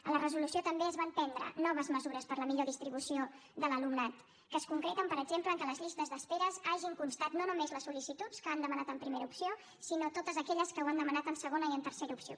en la resolució també es van prendre noves mesures per a la millor distribució de l’alumnat que es concreten per exemple en el fet que a les llistes d’espera hi hagin constat no només les sol·licituds que han demanat en primera opció sinó totes aquelles que ho han demanat en segona i en tercera opció